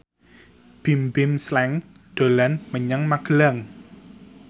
Bimbim Slank dolan menyang Magelang